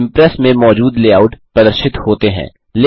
impress में मौजूद layouts प्रदर्शित होते हैं